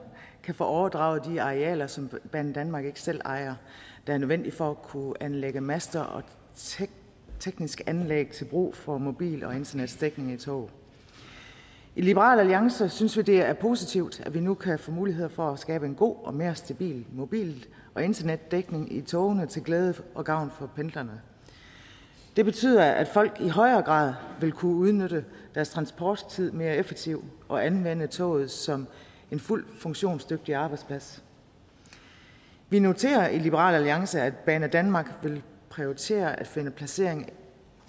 kan få overdraget de arealer som banedanmark ikke selv ejer og som er nødvendige for at kunne anlægge master og tekniske anlæg til brug for mobil og internetdækning i tog i liberal alliance synes vi det er positivt at vi nu kan få muligheder for at skabe en god og en mere stabil mobil og internetdækning i togene til glæde og gavn for pendlerne det betyder at folk i højere grad vil kunne udnytte deres transporttid mere effektivt og anvende toget som en fuldt funktionsdygtig arbejdsplads vi noterer os i liberal alliance at banedanmark vil prioritere at finde placering